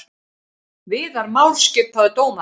Viðar Már skipaður dómari